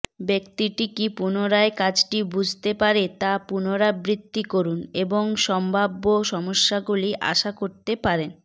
ব্যক্তিটি কি পুনরায় কাজটি বুঝতে পারে তা পুনরাবৃত্তি করুন এবং সম্ভাব্য সমস্যাগুলি আশা করতে পারেন